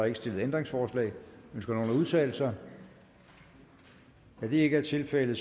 ikke stillet ændringsforslag ønsker nogen at udtale sig da det ikke er tilfældet